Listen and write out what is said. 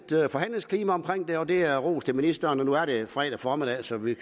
forhandlingsklima omkring det og det ros til ministeren og nu er det fredag formiddag så vi